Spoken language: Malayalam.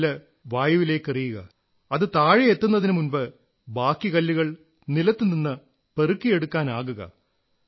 ഒരു കല്ല് വായുവിലേക്കെറിയുക അത് താഴെ എത്തുന്നതിനുമുമ്പ് ബാക്കി കല്ലുകൾ നിലത്തുനിന്ന് പെറുക്കിയെടുക്കാനാകുക